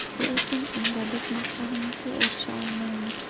Lekin unda biz maqsadimizga erisha olmaymiz.